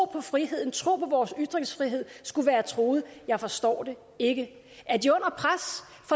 på friheden troen på vores ytringsfrihed skulle være truet jeg forstår det ikke